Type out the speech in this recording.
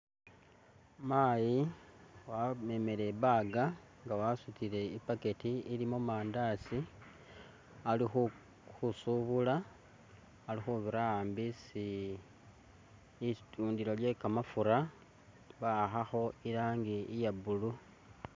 Mayi wamemele i bag nga wasutile i bucket ilimo mandasi ali khusubula alikhubira ambi isi litundilo lye kamafura ba'akhakho i rangi iya blue.